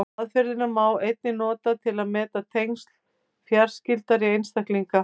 Aðferðina má einnig nota til að meta tengsl fjarskyldari einstaklinga.